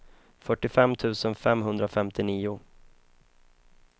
fyrtiofem tusen femhundrafemtionio